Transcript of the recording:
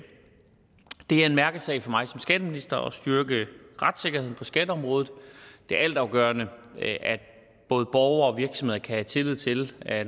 er en mærkesag for mig som skatteminister at styrke retssikkerheden på skatteområdet det er altafgørende at både borgere og virksomheder kan have tillid til at